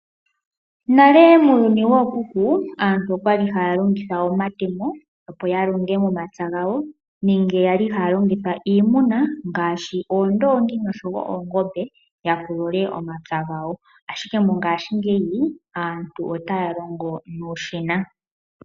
Nale muuyuni wookuku, aantu okwa li haya longitha omatemo opo longe momapya gawo nenge yali haya longitha iimuna ngaashi oondongi noshowoo oongombe yapulule omapya gawo , ashike mongashingeyi aantu otaya longo nuushina.